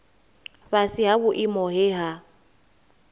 fhasi ha vhuimo he ha